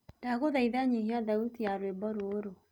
ndagũthaĩtha nyĩhia thaũtĩ ya rwĩmbo rũũru